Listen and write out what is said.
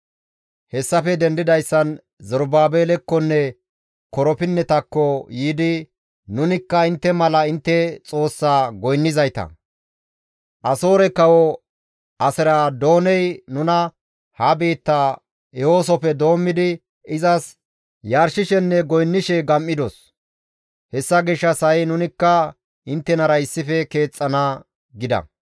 Hessafe dendidayssan Zerubaabelekkonne korapinnetako yiidi «Nunikka intte mala intte Xoossaa goynnizayta; Asoore dere kawo Aseradooney nuna ha biitta ehosofe doommidi izas yarshishenne goynnishe gam7idos; hessa gishshas ha7i nunikka inttenara issife keexxana» gida.